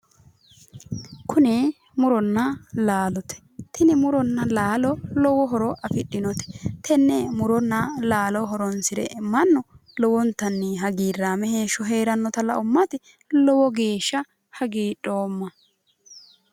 Kuni muronna laalote tini muronna laalo lowo horo afidhinote tenne muronna laalo horonsire mannu lowontanni hagirraame heeshsho heerannota la'ummati lowo geeshsha hagiidhoomma